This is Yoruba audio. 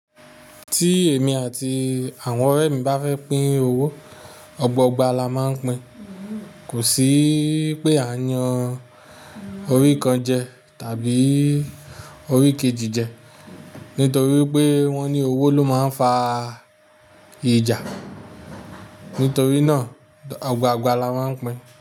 Tí èmi àti àwọn ọ̀rẹ́ mi bá fẹ́ pín owó, ọgboogba la máa ń pín. Kò sí pé a n yan orí kan jẹ tàbí orí kejì jẹ. Nítorí pé wọ́n ní owó ló máa ń fa ìjà. Nítorí náà ọgbọ̀n gba la máa ń pín.